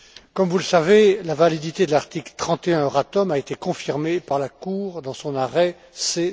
Comme vous le savez, la validité de l'article 31 du traité Euratom a été confirmée par la Cour dans son arrêt C